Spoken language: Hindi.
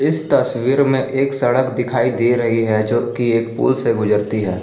इस तस्वीर में एक सड़क दिखाई दे रही है जो कि एक पुल से गुजरती है।